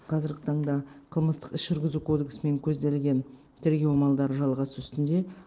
қазіргі таңда қылмыстық іс жүргізу кодексімен көзделген тергеу амалдары жалғасу үстінде